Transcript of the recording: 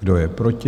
Kdo je proti?